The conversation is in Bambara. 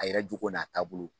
A yɛrɛ jogo n'a taabolo